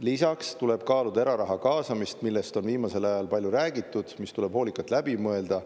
Lisaks tuleb kaaluda eraraha kaasamist, millest on viimasel ajal palju räägitud, mis tuleb hoolikalt läbi mõelda.